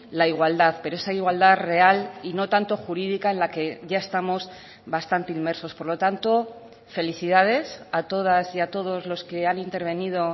la igualdad pero esa igualdad real y no tanto jurídica en la que ya estamos bastante inmersos por lo tanto felicidades a todas y a todos los que han intervenido